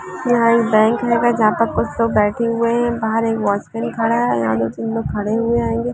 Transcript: यहाँ एक बैंक है जहाँ पर कुछ लोग बैठे हुए है बाहर एक वॉचमैन खड़ा है और यहां पर दो तीन लोग खड़े हुए हेेंगे